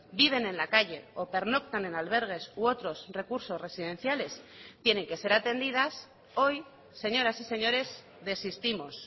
viven en la calle o pernoctan en albergues u otros recursos residenciales tienen que ser atendidas hoy señoras y señores desistimos